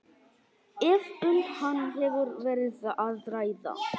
ef um hann hefur verið að ræða.